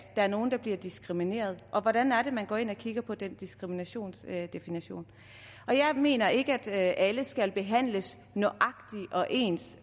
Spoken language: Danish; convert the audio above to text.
er nogen der bliver diskrimineret og hvordan er det man går ind og kigger på den diskriminationsdefinition jeg mener ikke at alle skal behandles nøjagtig ens